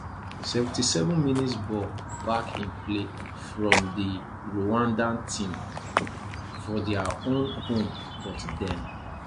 77mins ball back in play fro di rwandan team for dia own home but dem